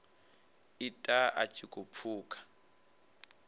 ita a tshi khou pfuka